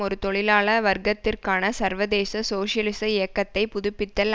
ஒரு தொழிலாள வர்க்கத்திற்கான சர்வதேச சோசியலிச இயக்கத்தை புதுப்பித்தல்